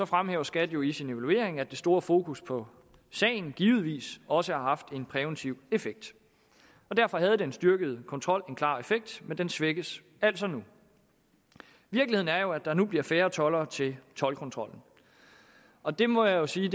fremhæver skat jo i sin evaluering at det store fokus på sagen givetvis også har haft en præventiv effekt og derfor havde den styrkede kontrol en klar effekt men den svækkes altså nu virkeligheden er jo at der nu bliver færre toldere til toldkontrollen og det må jeg sige